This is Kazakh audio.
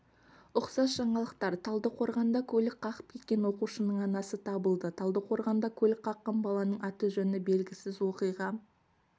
ұқсас жаңалықтар талдықорғанда көлік қағып кеткен оқушының анасы табылды талдықорғанда көлік қаққан баланың аты-жөні белгісіз оқиға